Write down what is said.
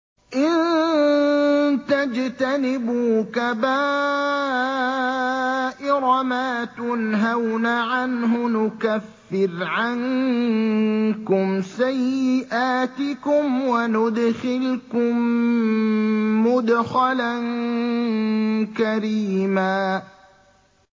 إِن تَجْتَنِبُوا كَبَائِرَ مَا تُنْهَوْنَ عَنْهُ نُكَفِّرْ عَنكُمْ سَيِّئَاتِكُمْ وَنُدْخِلْكُم مُّدْخَلًا كَرِيمًا